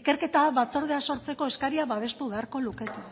ikerketa batzordea sortzeko eskaria babestu beharko lukete